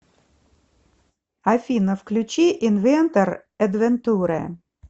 афина включи инвентор эдвентуре